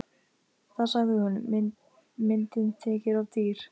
Þá sagði hún: Myndin þykir of dýr.